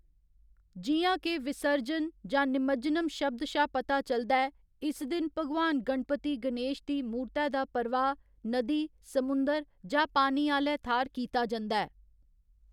जि'यां के 'विसर्जन' जां 'निमज्जनम्' शब्द शा पता चलदा ऐ, इस दिन भगवान गणपति गनेश दी मूरतै दा प्रवाह्‌‌ नदी, समुंदर जां पानी आह्‌ले थाह्‌र कीता जंदा ऐ।